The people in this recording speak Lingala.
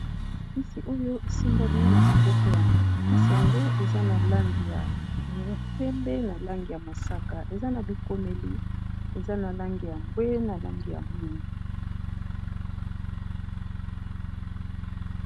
kisi oyo esimbalo na maboko ya kisi yango eza na langi ya pembe na langi ya mosaka eza na bikomeli eza na langi ya mbwe na langi ya mwinga